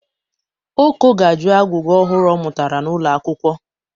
Oko ga-ajụ agwụgwa ọhụrụ ọ mụtara n'ụlọakwụkwọ.